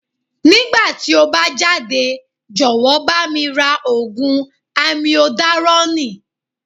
Nígbà tí o bá jáde, jọ̀wọ́ bá mi ra Ògùn Amiodarọ́nìì.